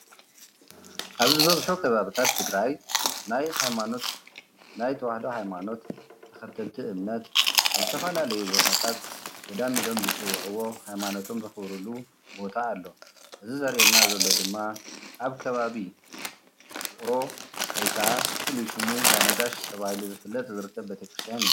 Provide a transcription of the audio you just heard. ኣብ ዝበዝሑ ከባቢታት ትግራይ ናይ ሃይማኖት ናይ ተዋህዶ ሃይማኖት ተኸተልቲ እምነት ኣብ ዝተፈላለዩ ቦታታት ገዳም ኢሎም ዝፅውዕዎ ሃይማኖቶም ዘኽብርሉ ቦታ ኣሎ፡፡ እዚ ዘርኤና ድማ ኣብ ከባቢ ውቕሮ ወይ ከዓ ፍሉይ ሽሙ እንዳ ነጋሽ ተባሂሉ ዝፍለጥ ዝርከብ ቤተ ክርስቲያን እዩ፡፡